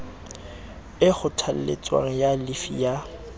e kgothaletswang ya llifi ya